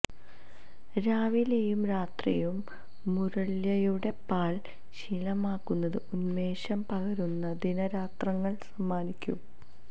രാവിലെയും രാത്രിയും മുരള്യയുടെ പാൽ ശീലമാക്കുന്നത് ഉന്മേഷം പകരുന്ന ദിനരാത്രങ്ങൾ സമ്മാനിക്കും